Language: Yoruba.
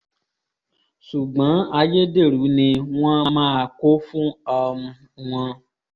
ṣùgbọ́n ayédèrú ni wọ́n máa kó fún um wọn